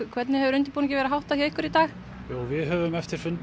hvernig hefur undirbúningi verið háttað í dag við höfum eftir fund